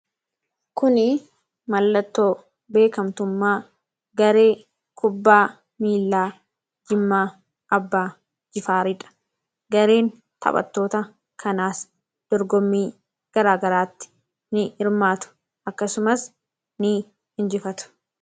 Kunii mallattoo beekamtummaa garee kubbaa miillaa Jimmaa Abbaa Jifaari dha. Gareen taphattoota kanaas dorgommii garaagaraatti ni hirmaatu. Akkasumas, ni injifatu.